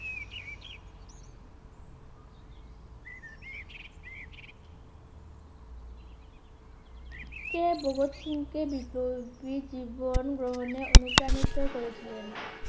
কে ভগৎ সিং কে বিপ্লবী জীবন গ্রহণে অনুপ্রাণিত করে ছিলেন